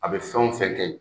A bɛ fɛn o fɛn kɛ yen,